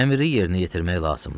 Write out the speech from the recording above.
Əmri yerinə yetirmək lazımdır.